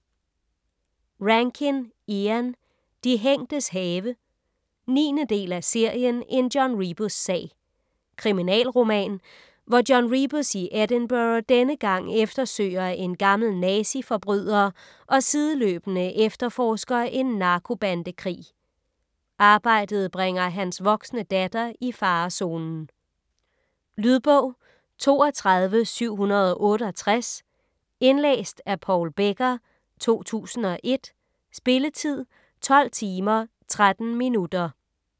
Rankin, Ian: De hængtes have 9. del af serien En John Rebus-sag. Kriminalroman, hvor John Rebus i Edinburgh denne gang eftersøger en gammel nazi-forbryder, og sideløbende efterforsker en narkobandekrig. Arbejdet bringer hans voksne datter i farezonen. Lydbog 32768 Indlæst af Paul Becker, 2001. Spilletid: 12 timer, 13 minutter.